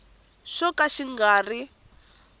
xo ka xi nga ri